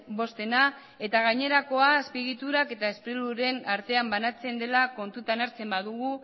bostena eta gainerakoa azpiegiturak eta sprilurren artean banatzen dela kontutan hartzen badugu